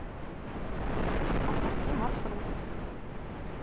ассорти маршрут